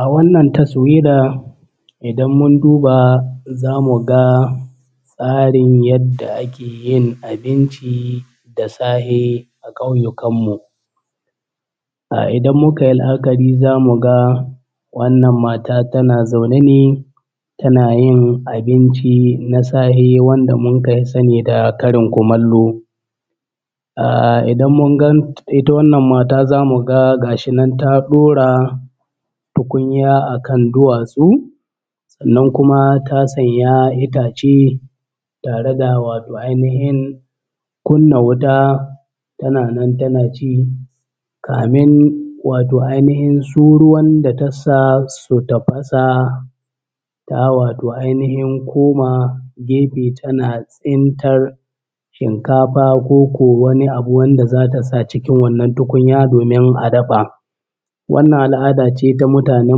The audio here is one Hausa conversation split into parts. A wannan tasawira idan mun duba za mu ga tsarin yadda ake yin abinci da sahe a ƙauyukan mu. Ah idan muka yi la’akari za mu ga wannan mata tana zaune ne tana yin abinci na sahe wanda mun ka fi sani da karin kumallo. Ah idan mun gan ita wannan mata za mu ga gashi nan ta ɗora tukunya akan duwatsu sannan kuma ta sanya itace tare da wato ainihin kunna wuta tana nan tana ci kamin wato ainihin su ruwan da tassa su tafasa ta wato ainihin koma gefe tana tsintar shinkafa koko wani abu wanda za ta sa cikin wannan tukunya domin a dafa. Wannan al’ada ce ta mutanen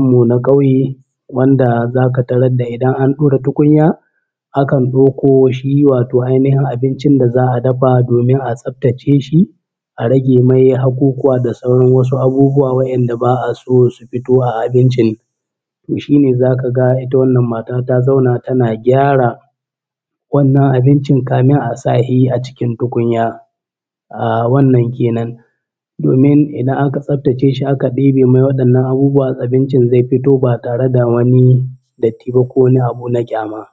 mu na ƙauye wanda za ka tarar da idan an ɗora tukunya a kan ɗauko shi wato ainihin abincin da za a dafa domin a tsabtace shi a rage mai haƙuƙuwa da sauran wasu abubuwa wa’inda ba a so su fito a abincin. Toh shi ne za ka ga wannan mata ta`zauna tana gyara wannan abincin kamin a sa shi a cikin tukunya. Ahh wannan kenan, domin idan anka tsabtace shi aka ɗebe mai waɗannan abubuwa abincin zai fito ba tare da wani datti ba ko wani abu na ƙyama.